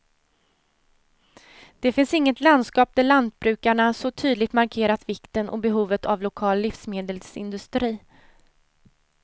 Det finns inget landskap där lantbrukarna så tydligt markerat vikten och behovet av en lokal livsmedelsindustri.